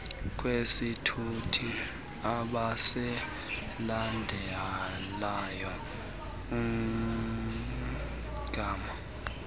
kwesithuthi abasilandelayo umgama